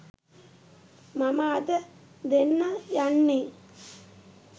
මම අද දෙන්න යන්නේ.